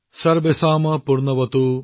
সৰ্বেশম পূৰ্ণমভৱতু